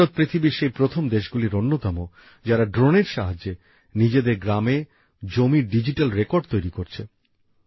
ভারত পৃথিবীর সেই প্রথম দেশগুলির অন্যতম যারা ড্রোনের সাহায্যে নিজেদের গ্রামে জমির ডিজিটাল রেকর্ড তৈরি করছে